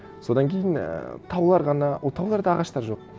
содан кейін ііі таулар ғана ол тауларда ағаштар жоқ